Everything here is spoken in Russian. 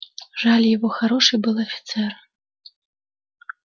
жаль его хороший был офицер